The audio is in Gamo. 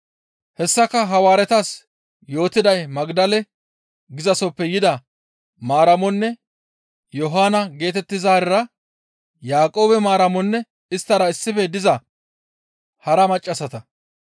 Hessaka Hawaaretas yootiday Magdale gizasoppe yida Maaramonne Yohaano geetettizaarira Yaaqoobe Maaramonne isttara issife diza hara maccassata.